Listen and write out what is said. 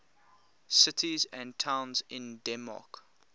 cities and towns in denmark